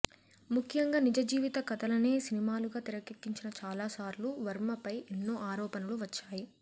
ముఖ్యంగా నిజ జీవిత కథలనే సినిమాలుగా తెరకెక్కించిన చాలాసార్లు వర్మపై ఎన్నో ఆరోపణలు వచ్చాయి